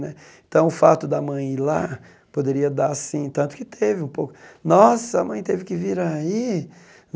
Né então, o fato da mãe ir lá poderia dar, assim, tanto que teve um pouco... Nossa, a mãe teve que vir aí?